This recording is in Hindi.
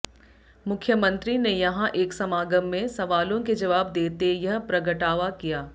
मुख्यमंत्री ने यहां एक समागम में सवालों के जवाब देते यह प्रगटावा किया